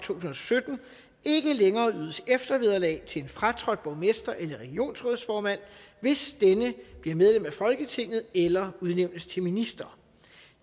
tusind og sytten ikke længere ydes eftervederlag til en fratrådt borgmester eller regionsrådsformand hvis denne bliver medlem af folketinget eller udnævnes til minister